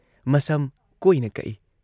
ꯃꯁꯝ ꯀꯣꯏꯅ ꯀꯛꯏ ꯫